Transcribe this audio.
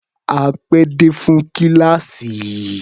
A pé dé fún kíláàsì.